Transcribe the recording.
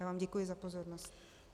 Já vám děkuji za pozornost.